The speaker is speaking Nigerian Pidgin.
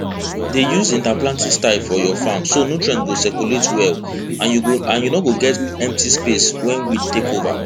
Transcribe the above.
dey use interplanting style for your farm so nutrients go circulate well and you no go get empty space wey weed fit take over